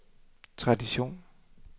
tradition